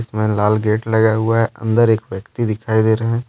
इसमें लाल गेट लगा हुआ है अंदर एक व्यक्ति दिखाई दे रहे है।